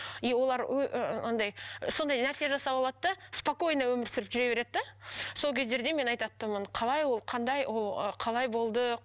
и олар андай сондай нәрсе жасап алады да спокойно өмір сүріп жүре береді де сол кездерде мен айтатынмын қалай ол қандай ол ы қалай болды